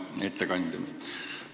Hea ettekandja!